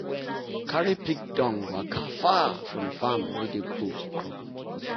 carry pig dung waka far from farm wey dey grow crop.